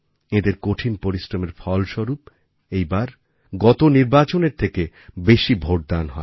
এঁদের কঠিন পরিশ্রমের ফলস্বরূপ এইবার গত নির্বাচনের থেকে বেশি ভোটদান হয়